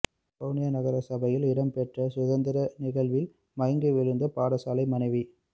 வவுனியா நகரசபையில் இடம்பெற்ற சுதந்திர நிகழ்வில் மயங்கி விழுந்த பாடசாலை மாணவி